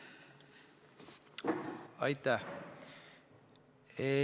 Aitäh!